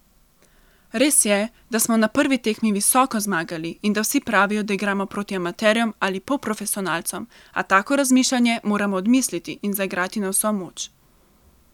Res je, da smo na prvi tekmi visoko zmagali in da vsi pravijo, da igramo proti amaterjem ali polprofesionalcem, a tako razmišljanje moramo odmisliti in zaigrati na vso moč.